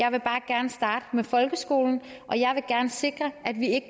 jeg vil bare gerne starte med folkeskolen og jeg vil gerne sikre at vi ikke